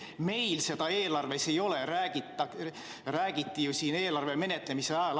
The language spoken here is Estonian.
Meil seda eelarves ei ole, nagu räägiti siin eelarve menetlemise ajal.